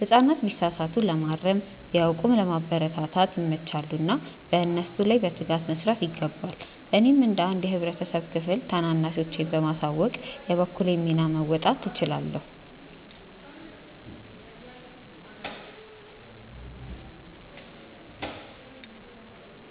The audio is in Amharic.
ህጻናት ቢሳሳቱ ለማረም፣ ቢያውቁም ለማበረታታት ይመቻሉና በእነሱ ላይ በትጋት መስራት ይገባል። እኔም እንደ አንድ የህብረተሰብ ክፍል ታናናሾቼን በማሳወቅ የበኩሌን ሚና መወጣት እችላለሁ።